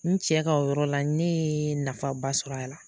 N cɛ ka o yɔrɔ la ne ya nafa ba sɔrɔ a la.